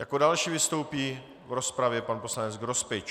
Jako další vystoupí v rozpravě pan poslanec Grospič.